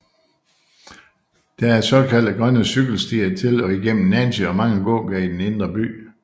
Der er såkaldte grønne cykelstier til og igennem Nancy og mange gågader i den indre by